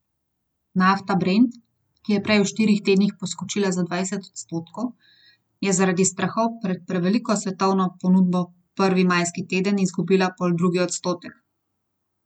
Nafta brent, ki je prej v štirih tednih poskočila za dvajset odstotkov, je zaradi strahov pred preveliko svetovno ponudbo prvi majski teden izgubila poldrugi odstotek.